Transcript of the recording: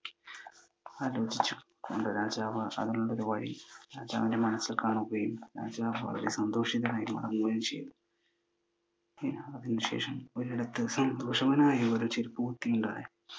ആലോചിച്ചു. രാജാവ് അതിനുള്ള വഴി രാജാവിൻ്റെ മനസ്സിൽ കാണുകയും രാജാവ് വളരെ സന്തോഷിതനായി മടങ്ങുകയും ചെയ്തു. അതിനു ശേഷം ഒരിടത്തു സന്തോഷവാനായ ഒരു ചെരുപ്പ് കുത്തിയുണ്ടായിരുന്നു.